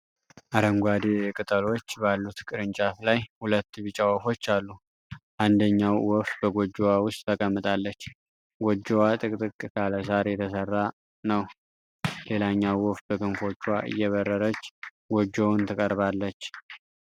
አረንጓዴ ቅጠሎች ባሉት ቅርንጫፍ ላይ ሁለት ቢጫ ወፎች አሉ። አንደኛው ወፍ በጎጆዋ ውስጥ ተቀምጣለች፣ ጎጆዋ ጥቅጥቅ ካለ ሳር የተሰራ ነው። ሌላኛው ወፍ በክንፎቿ እየበረረች ጎጆውን ትቀርባለች።